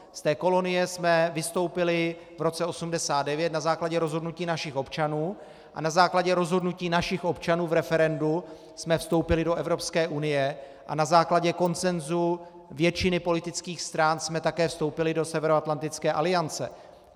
Z té kolonie jsme vystoupili v roce 1989 na základě rozhodnutí našich občanů a na základě rozhodnutí našich občanů v referendu jsme vstoupili do Evropské unie a na základě konsenzu většiny politických stran jsme také vstoupili do Severoatlantické aliance.